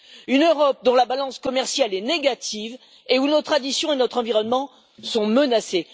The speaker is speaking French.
une Europe dont la balance commerciale est négative et où nos traditions et notre environnement sont menacés.